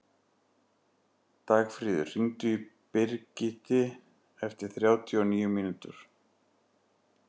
Dagfríður, hringdu í Brigiti eftir þrjátíu og níu mínútur.